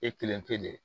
E kelen tɛ dɛ